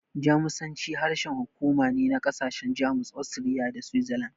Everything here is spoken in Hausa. Jamusanci harshen hukuma ne na ƙasashen Jamus, Austria, da Switzerland.